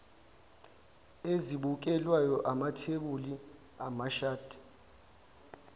ezibukelwayo amathebuli amashadi